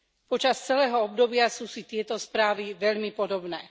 Počas celého obdobia sú si tieto správy veľmi podobné.